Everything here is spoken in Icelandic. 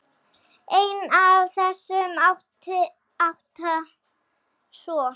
Einn af þessum átta, sko.